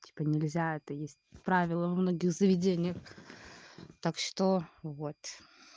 типо нельзя это есть правила во многих заведениях так что вот